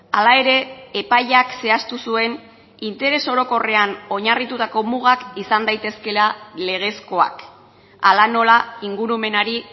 hala ere epaiak zehaztu zuen interes orokorrean oinarritutako mugak izan daitezkeela legezkoak hala nola ingurumenari